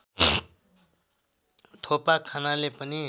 थोपा खानाले पनि